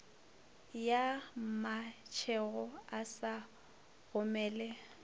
ya mmatšhego a sa gomele